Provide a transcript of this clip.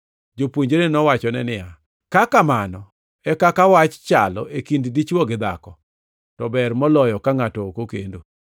Jopuonjre nowachone niya, “Ka kamano e kaka wach chalo e kind dichwo gi dhako to ber moloyo ka ngʼato ok okendo.”